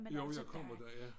Jo jeg kommer der ja